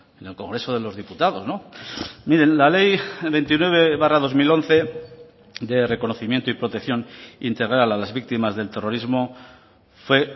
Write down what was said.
en el congreso de los diputados miren la ley veintinueve barra dos mil once de reconocimiento y protección integral a las víctimas del terrorismo fue